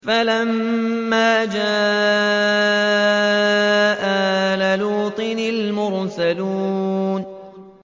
فَلَمَّا جَاءَ آلَ لُوطٍ الْمُرْسَلُونَ